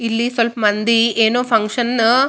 ಒಬ್ಬ ಹುಡುಗ ನಿಲಿ ಬಣ್ಣದ ಬಟ್ಟೆಯನ್ನು ಹಾಕಿಕೊಂಡು ಕುಳಿತಿದ್ದಾನೆ.